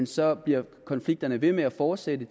så bliver konflikterne ved med at fortsætte